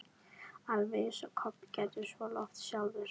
Alveg eins og Kobbi gerði svo oft sjálfur.